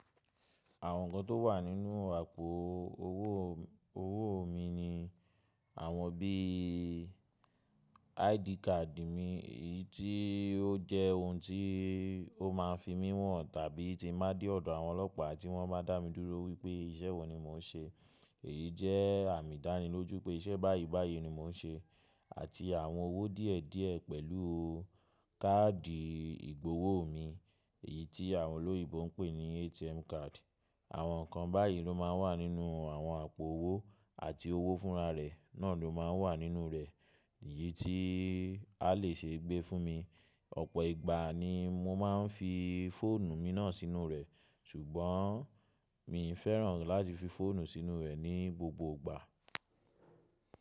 Àwọn nǹkan tó wà nínú àpò owó, owó mi ni àwọn bí i ID card mi, èyí tí ó jẹ́ ohun tí ó máa ń fi mí mọ̀ tàbí tí mo bá dé ọ̀dọ̀ àwọn ọlọ́pàá tí wọ́n bá dá mi dúró wípé iṣẹ́ wo ni mò ń ṣe èyí jẹ́ àmì ìdánilójú pé iṣẹ́ báyìí báyìí ni mò ń ṣe àti àwọn owó díẹ̀ díẹ̀ pẹ̀lú káàdì ìgbowó mi èyí tí àwọn olóyèbo ń pè ní ATM card. Àwọn nǹkan báyìí ló máa ń wà nínú àwọn àpò owó àti owó fúnra rẹ̀ náà ló máa ń wà nínú rẹ̀ èyí tí a lè ṣe gbé fún mi. Ọ̀pọ̀ ìgbà ni mo máa ń fi fóònù mi náà sínú rẹ̀ ṣùgbọ́n mi i fẹ́ràn láti fi fóònù sínú rẹ̀ ní gbogbo ìgbà.